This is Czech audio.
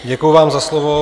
Děkuji vám za slovo.